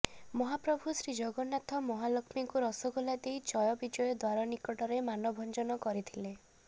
ମହାପ୍ରଭୁ ଶ୍ରୀଜଗନ୍ନାଥ ମହାଲକ୍ଷ୍ମୀଙ୍କୁ ରସଗୋଲା ଦେଇ ଜୟବିଜୟ ଦ୍ୱାର ନିକଟରେ ମାନଭଞ୍ଜନ କରିଥିଲେ